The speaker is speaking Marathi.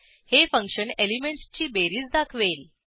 हे फंक्शन एलिमेंटसची बेरीज दाखवेल